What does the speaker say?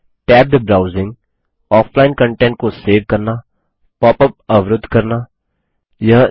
tabbed browsing offline content को save करना pop up अवरूद्ध करना पॉप अप ब्लोकिंग